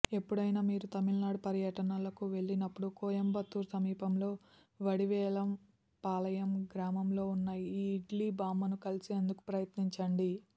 ఎప్పుడైనా మీరు తమిళనాడు పర్యటనలకు వెళ్లినప్పుడు కోయంబత్తూర్ సమీపంలో వడివేలంపాలయం గ్రామంలో ఉన్న ఈ ఇడ్లీ బామ్మను కలిసేందుకు ప్రయత్నించండి